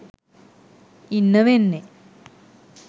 ඉන්න වෙන්නේ